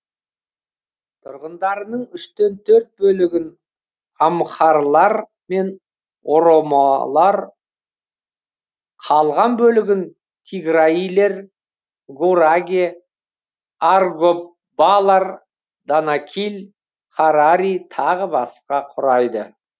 тұрғындарының үштен төрт бөлігін амхарлар мен оромолар қалған бөлігін тиграилер гураге аргоббалар данакиль харари тағы басқа құрайды